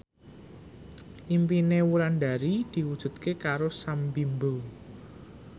impine Wulandari diwujudke karo Sam Bimbo